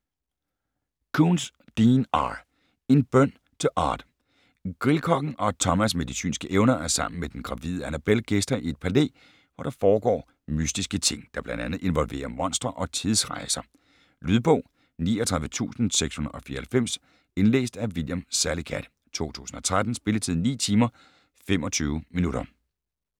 Koontz, Dean R.: En bøn til Odd Grillkokken Odd Thomas med de synske evner er sammen med den gravide Annabelle gæster i et palæ, hvor der foregår mystiske ting, der bl.a. involverer monstre og tidsrejser. Lydbog 39694 Indlæst af William Salicath, 2013. Spilletid: 9 timer, 25 minutter.